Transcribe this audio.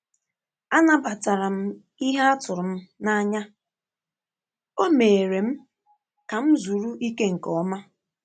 Anabatara m ihe a tụrụ m n’anya, ọ́ mééré m ka m zuru ike nke ọma.